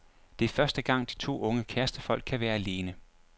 Det er første gang, de to unge kærestefolk kan være alene.